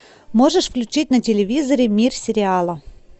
можешь включить на телевизоре мир сериала